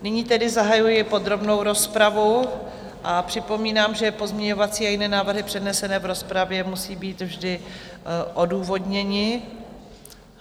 Nyní tedy zahajuji podrobnou rozpravu a připomínám, že pozměňovací a jiné návrhy přednesené v rozpravě musí být vždy odůvodněny.